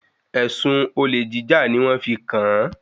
Èsùn olèjíjà ni wọ́n fi kàn-án.